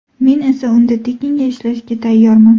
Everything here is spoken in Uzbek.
Men esa unda tekinga ishlashga tayyorman.